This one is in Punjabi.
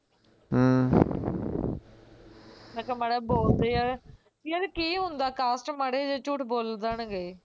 ਅਮ ਮੈਂ ਕਿਹਾ ਮਾੜਾ ਜਿਹਾ ਬੋਲਦੇ ਯਾਰ, ਯਾਰ ਕੀ ਹੁੰਦਾ cast ਮਾੜਾ ਜਿਹਾ ਝੂਠ ਬੋਲ ਦੇਣਗੇ